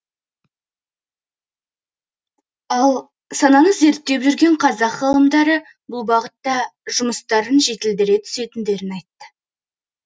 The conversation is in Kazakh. ал саланы зерттеп жүрген қазақ ғалымдары бұл бағытта жұмыстарын жетілдіре түсетіндерін айтты